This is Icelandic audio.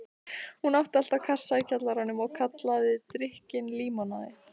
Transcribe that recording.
Hún átti alltaf kassa í kjallaranum og kallaði drykkinn límonaði.